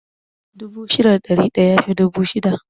Dubu shida da ɗari ɗaya yafi dubu shida